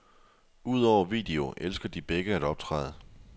Udover video elsker de begge at optræde.